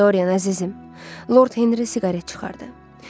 Dorian əzizim, Lord Henri siqaret çıxardı.